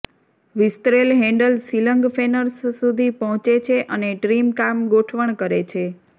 વિસ્તરેલ handle ceiling ફેનર્સ સુધી પહોંચે છે અને ટ્રીમ કામ ગોઠવણ કરે છે